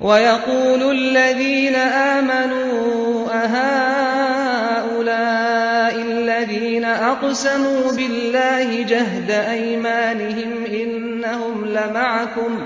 وَيَقُولُ الَّذِينَ آمَنُوا أَهَٰؤُلَاءِ الَّذِينَ أَقْسَمُوا بِاللَّهِ جَهْدَ أَيْمَانِهِمْ ۙ إِنَّهُمْ لَمَعَكُمْ ۚ